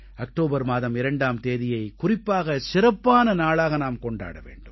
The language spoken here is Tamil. அக்டோபர் மாதம் 2ஆம் தேதியை குறிப்பாக சிறப்பான நாளாக நாம் கொண்டாட வேண்டும்